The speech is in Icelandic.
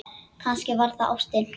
Kannski var það ástin.